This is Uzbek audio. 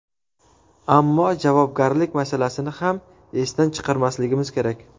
Ammo javobgarlik masalasini ham esdan chiqarmasligimiz kerak.